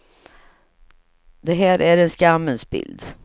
Det här är en skammens bild.